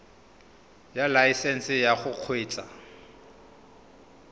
ya laesesnse ya go kgweetsa